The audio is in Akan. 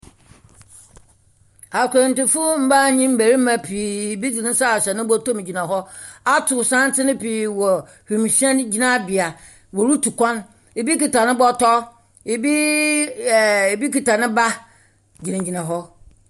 Akwantufo mbaa nye mbarima pii, bi dze ne sa ahyɛ ne bɔtɔ mu gyina hɔ ato santsen pii wɔ wimuhyɛn gyinabea rotu kwan. Bi kita ne bɔtɔ. Bi . Ɛɛɛɛ . Bi kita ne ba gyinagyina hɔ.